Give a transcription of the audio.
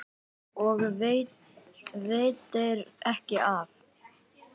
Og veitir ekki af!